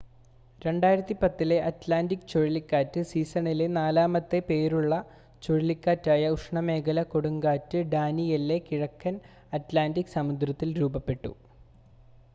2010-ലെ Atlantic ചുഴലിക്കാറ്റ് സീസണിലെ നാലാമത്തെ പേരുള്ള ചുഴലിക്കാറ്റായ ഉഷ്ണമേഖലാ കൊടുങ്കാറ്റ് ഡാനിയെല്ലെ കിഴക്കൻ അറ്റ്ലാൻ്റിക് സമുദ്രത്തിൽ രൂപപ്പെട്ടു